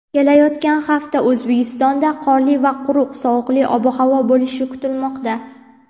kelayotgan hafta O‘zbekistonda qorli va quruq sovuqli ob-havo bo‘lishi kutilmoqda.